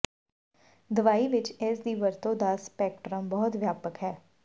ਦਵਾਈ ਵਿਚ ਇਸ ਦੀ ਵਰਤੋਂ ਦਾ ਸਪੈਕਟ੍ਰਮ ਬਹੁਤ ਵਿਆਪਕ ਹੈ